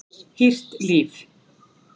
Hýrt líf